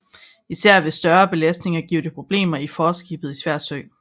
Især ved større belastninger giver det problemer i forskibet i svær sø